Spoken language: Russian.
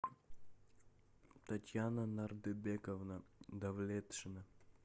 татьяна нардыбековна давлетшина